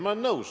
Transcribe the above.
Ma olen nõus.